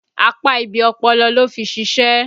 Apá ibi ọpọlọ ló fi ṣìṣe